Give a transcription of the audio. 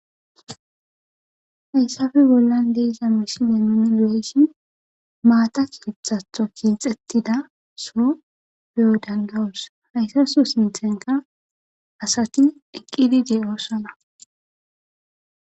Hayissafe bollan deiza meshile nuni l'eyshin maatak ithatho kinxettida so be'odandawos haysaso sinthenka asati eqqidi de'oossona